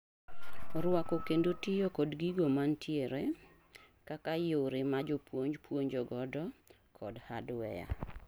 Rwako kendo tiyo kod gigo mantiere, kaka yoro ma jopuoj puonjo godo kod hardware